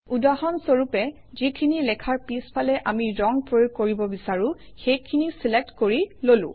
উদাহৰণস্বৰূপে যিখিনি লেখাৰ পিছফালে আমি ৰং প্ৰয়োগ কৰিব বিচাৰোঁ সেইখিনি চিলেক্ট কৰি ললো